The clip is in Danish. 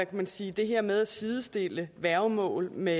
man sige det her med at sidestille værgemål med